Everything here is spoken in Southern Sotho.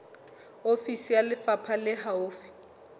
ofisi ya lefapha le haufi